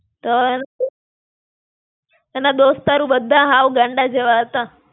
તર, એના દોસ્તારું બધાય હાવ ગાંડા જેવા હતા.